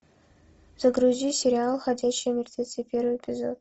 загрузи сериал ходячие мертвецы первый эпизод